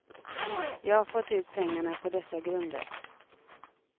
Jag har fått ut pengarna på dessa grunder.